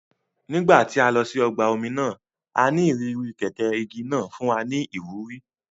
Nígbà tí a lọ sí ọgbà omi náà,a ní ìrírí kẹ̀kẹ́ igi náà fún wa ní ìwúrí